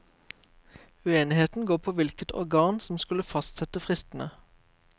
Uenigheten går på hvilket organ som skulle fastsette fristene.